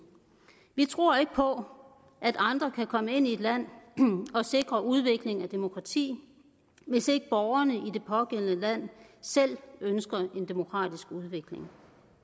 vi tror ikke på at andre kan komme ind i et land og sikre udviklingen af demokrati hvis ikke borgerne i det pågældende land selv ønsker en demokratisk udvikling